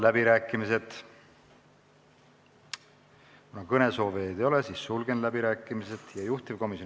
Määran eelnõu 795 muudatusettepanekute esitamise tähtajaks k.a 25. jaanuari kell 16.